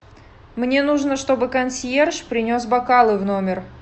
мне нужно чтобы консьерж принес бокалы в номер